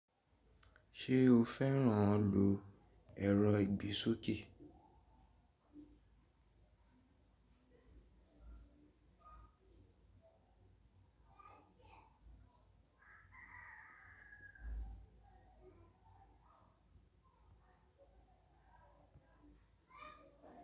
Ṣé o fẹ́ràn lo ẹ̀rọ ìgbésókè?